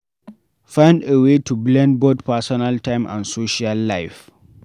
Find a way to blend both personal time and social life